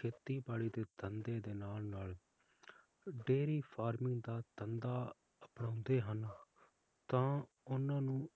ਖੇਤੀਬਾੜੀ ਦੇ ਧੰਦੇ ਦੇ ਨਾਲ ਨਾਲ dairy farming ਦਾ ਧੰਦਾ ਅਪਣਾਉਂਦੇ ਹਨ ਤਾ ਓਹਨਾ ਨੂੰ